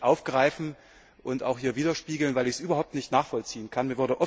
Eines möchte ich aufgreifen und hier widerspiegeln, weil ich es überhaupt nicht nachvollziehen kann.